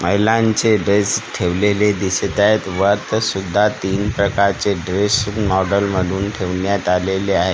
Online चे dress ठेवलेले दिसत आहेत व आत्तासुद्धा तीन प्रकारचे ड्रेस मॉडल मधून ठेवण्यात आलेले आहे.